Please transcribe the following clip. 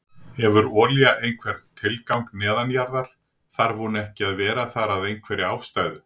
Hefur olía einhvern tilgang neðanjarðar, þarf hún ekki að vera þar að einhverri ástæðu?